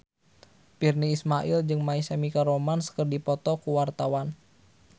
Virnie Ismail jeung My Chemical Romance keur dipoto ku wartawan